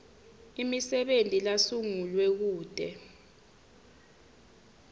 emisebenti lasungulwe kute